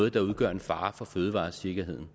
at det udgør en fare for fødevaresikkerheden